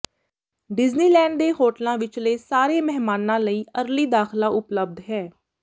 Disneyland ਦੇ ਹੋਟਲਾਂ ਵਿਚਲੇ ਸਾਰੇ ਮਹਿਮਾਨਾਂ ਲਈ ਅਰਲੀ ਦਾਖ਼ਲਾ ਉਪਲਬਧ ਹੈ